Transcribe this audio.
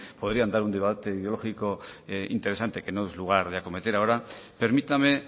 podrían dar un debate ideológico interesante que no es lugar de acometer ahora permítame